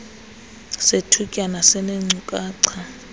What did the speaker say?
sethutyana sineenkcukacha zomceli